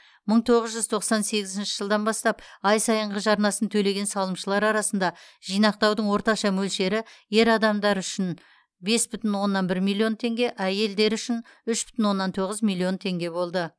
мың тоғыз жүз тоқсан сегізінші жылдан бастап ай сайынғы жарнасын төлеген салымшылар арасында жинақтаудың орташа мөлшері ер адамдар үшін бес бүтін оннан бір миллион теңге әйелдер үшін үш бүтін оннан тоғыз миллион теңге болды